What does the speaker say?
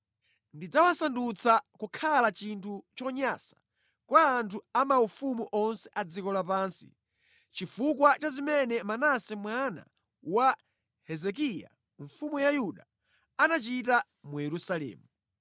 Ndidzawasandutsa kukhala chinthu chonyansa kwa anthu a maufumu onse a dziko lapansi chifukwa cha zimene Manase mwana wa Hezekiya mfumu ya Yuda anachita mu Yerusalemu.